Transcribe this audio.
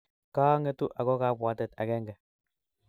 Kangetu ago kabwatet agenge